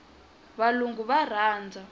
valungu va rhandza